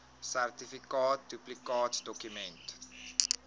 sertifikaat duplikaatdokument ten